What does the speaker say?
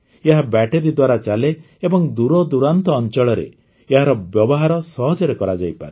ଏହା ବ୍ୟାଟରୀ ଦ୍ୱାରା ଚାଲେ ଏବଂ ଦୂରଦୂରାନ୍ତ ଅଞ୍ଚଳରେ ଏହାର ବ୍ୟବହାର ସହଜରେ କରାଯାଇପାରେ